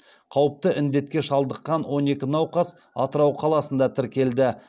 қауіпті індетке шалдыққан он екі науқас атырау қаласында тіркелді